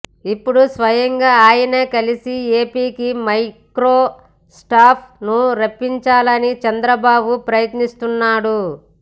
ఇప్పుడు స్వయంగా ఆయన్నే కలిసి ఏపీకి మైక్రోసాఫ్ట్ ను రప్పించాలని చంద్రబాబు ప్రయత్నిస్తున్నారు